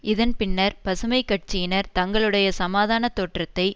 இதன் பின்னர் பசுமை கட்சியினர் தங்களுடைய சமாதான தோற்றத்தை